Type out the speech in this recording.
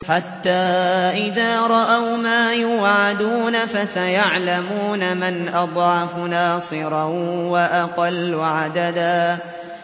حَتَّىٰ إِذَا رَأَوْا مَا يُوعَدُونَ فَسَيَعْلَمُونَ مَنْ أَضْعَفُ نَاصِرًا وَأَقَلُّ عَدَدًا